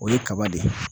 O ye kaba de ye